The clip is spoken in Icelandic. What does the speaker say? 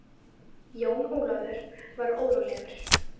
Jón Ólafur var órólegur.